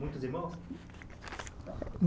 Muitos irmãos?